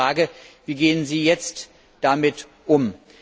Meine Frage Wie gehen Sie jetzt damit um?